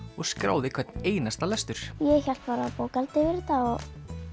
og skráði hvern einasta lestur ég hélt bara bókhald yfir þetta og